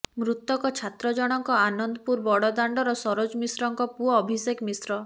ମୃତକ ଛାତ୍ର ଜଣକ ଆନନ୍ଦପୁର ବଡ଼ ଦାଣ୍ଡର ସରୋଜ ମିଶ୍ରଙ୍କ ପୁଅ ଅଭିଷେକ ମିଶ୍ର